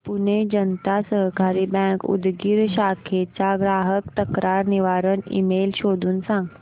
Pune Janata Sahakari bank Udgir शाखेचा ग्राहक तक्रार निवारण ईमेल शोधून सांग